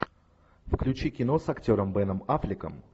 включи кино с актером беном аффлеком